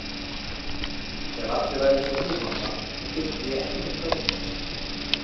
Ef allir væru einsog þú mamma þá þyrfti ég ekkert að óttast.